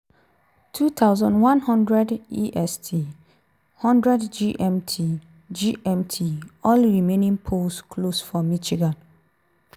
2100 est (0100 gmt) gmt) - all remaining polls close for michigan.